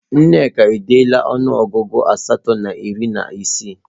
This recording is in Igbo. Nneka edeela ọnụọgụ asatọ na iri na isii